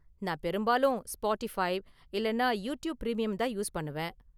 நான் பெரும்பாலும் ஸ்பாட்டிஃபை இல்லனா யூடியூப் பிரீமியம் தான் யூஸ் பண்ணுவேன்.